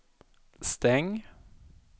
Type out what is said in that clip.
stäng